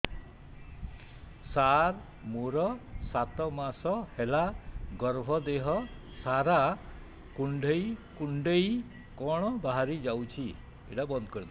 ସାର ମୋର ସାତ ମାସ ହେଲା ଗର୍ଭ ଦେହ ସାରା କୁଂଡେଇ କୁଂଡେଇ କଣ ବାହାରି ଯାଉଛି